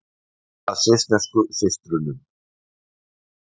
Leita að svissneskum systrum